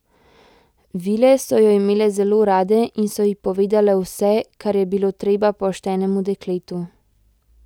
Vile so jo imele zelo rade in so ji povedale vse, kar je bilo treba poštenemu dekletu.